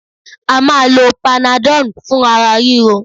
À máa lo panadol fún ara ríro.